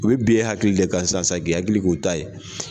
U bɛ bin e hakili de ka sisan sa k'i hakili k'o ta ye.